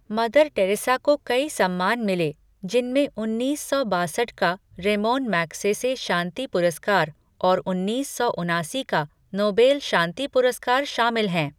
Mother Teresa को कई सम्मान मिले, जिनमें उन्नीस सौ बासठ का रेमोन मैग्सेसे शांति पुरस्कार और उन्नीस सौ उनासी का नोबेल शांति पुरस्कार शामिल हैं।